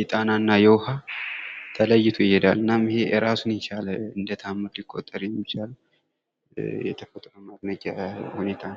የጣና እና የውኋው ተለይቶ ይሔዳል። እናም ይኸ እራሱን የቻለ እንደታምር ሊቆጠር የሚችል የተፈጥሮ ማድነቂያ ሁኔታ ነው።